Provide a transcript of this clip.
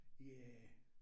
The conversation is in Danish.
Ja